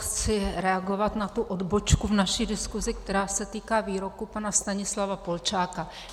Chci reagovat na tu odbočku v naší diskuzi, která se týká výroku pana Stanislava Polčáka.